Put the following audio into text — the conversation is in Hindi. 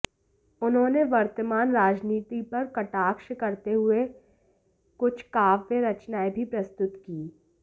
उन्होंने वर्तमान राजनीति पर कटाक्ष करते हुए कुछ काव्य रचनाएं भी प्रस्तुत की